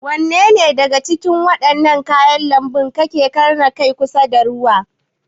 Wanne daga Cikin wadannan kayan lanbu kace Kar na Kai kusa da ruwa?